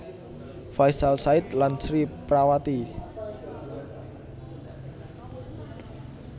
Faisal Said lan Sri Prawati